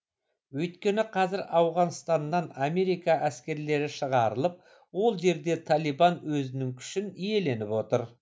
өйткені қазір ауғанстаннан америка әскерлері шығарылып ол жерде талибан өзінің күшін иеленіп отыр